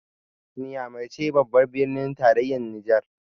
Nyamai ce babbar birnin tarayyar Nijar